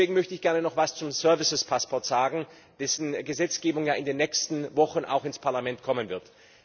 Deswegen möchte ich gerne noch etwas zum services passport sagen, dessen Gesetzgebung ja in den nächsten Wochen auch ins Parlament kommen wird.